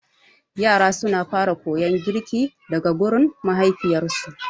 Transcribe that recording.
Yara suna fara koyar girki daga gurin mahaifiyarsu.